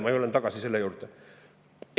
Ma tulen selle juurde tagasi.